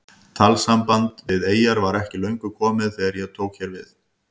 Talsamband við eyjar var ekki löngu komið þegar ég tók hér við.